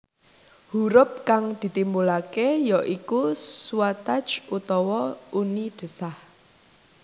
Hurup kang ditimbulake ya iku suathaich utawa uni desah